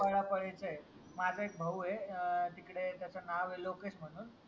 पळापळीच ये माझा एकभाऊ ये अह तिकडे त्याच नाव ये लोकेश म्हणून